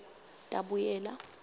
tabuyela